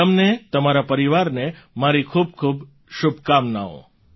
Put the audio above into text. તમને તમારા પરિવારને મારી ખૂબ ખૂબ શુભકામનાઓ